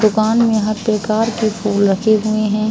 दुकान में हर प्रकार के फूल रखे हुए हैं।